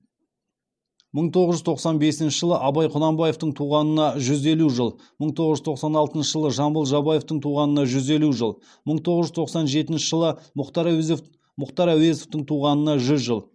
мың тоғыз жүз тоқсан бесінші жылы абай құнанбаевтың туғанына жүз елу жыл мың тоғыз жүз тоқсан алтыншы жылы жамбыл жабаевтың туғанына жүз елу жыл мың тоғыз жүз тоқсан жетінші жылы мұхтар әуезовтің туғанына жүз жыл